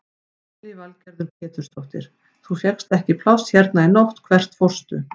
Lillý Valgerður Pétursdóttir: Þú fékkst ekki pláss hérna í nótt, hvert fórstu?